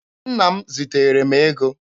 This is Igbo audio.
Nna m ziteere m ego.